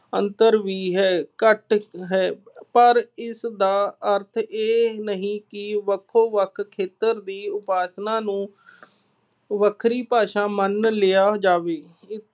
ਅੰਤਰ ਵੀ ਹੈ ਘੱਟ ਹੈ। ਪਰ ਇਸਦਾ ਅਰਥ ਇਹ ਨਹੀਂ ਕਿ ਵੱਖੋ ਵੱਖ ਖੇਤਰ ਦੀ ਉਪਭਾਸ਼ਾ ਨੂੰ ਵੱਖਰੀ ਭਾਸ਼ਾ ਮੰਨ ਲਿਆ ਜਾਵੇ।